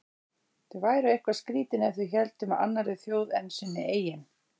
Þau væru eitthvað skrýtin ef þau héldu með annarri þjóð en sinni eigin.